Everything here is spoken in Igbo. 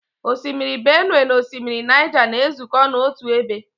Osimiri Benue na osimiri Niger na-ezukọ n'otu ebe.